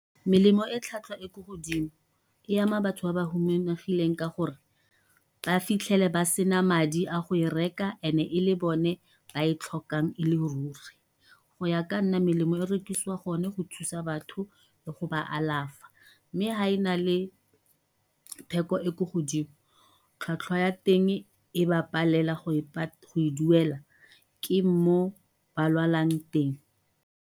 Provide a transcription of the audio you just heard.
Melemo e tlhwatlhwa e ko godimo e ama batho ba ba humanegileng ka gore ba fitlhele ba sena madi a go e reka e le bone ba e tlhokang e le ruri. Go ya ka nna melemo e rekisiwa gone go thusa batho le go ba alafa mme ha e na le theko e ko godimo tlhwatlhwa ya teng e ba palela go e duela ke moo ba lwalang teng.